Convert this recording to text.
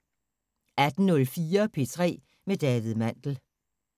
18:04: P3 med David Mandel